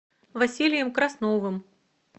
василием красновым